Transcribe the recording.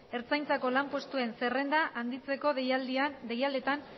ertzaintzako lanpostuen zerrenda handitzeko deialdietan